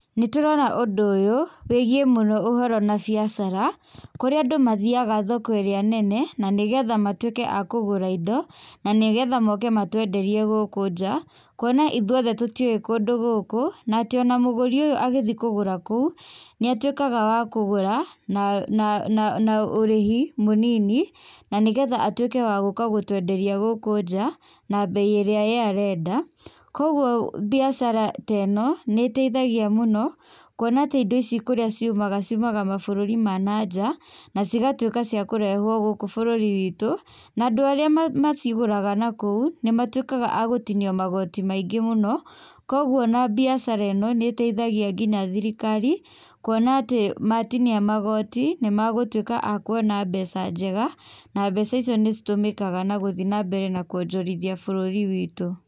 Nĩtũrona ũndũ ũyũ wĩgiĩ mũno ũhoro na biacara kũrĩa andũ mathiaga thoko ĩrĩa nene nanĩgetha matwĩke a kũgũra indo nanĩgetha moke matwenderie gũkũ njaa kuona ithuothe tũtiũĩ kũndũ gũkũ na atĩ ona mũgúri ũyũ agĩthi kũgũra kũu nĩatwĩkaga wa kũgũra na na ũrĩhi mũnini na nĩgetha atwĩke wa gũka gũtwenderia gũkũ njaa na mbei ĩrĩa ye arenda, koguo mbiacara teno nĩteithagia mũno kuona atĩ indo ici kũrĩa ciumaga ciumaga mabũrũri ma nanja na cigatwĩka cia kũrehwo gũkũ bũrũri witũ na andũ arĩa macigũraga nakũu nĩmatwĩkaga agũtinio magoti maingĩ mũno kwoguo ona mbiacara ĩno nĩteithagia nginya thirikari kuona atĩ matinia magoti nĩmagũtwĩka a kuona mbeca njega na mbeca icio nĩcitũmĩkaga nagũthiĩ nambere na kuonjorithia bũrũri witũ.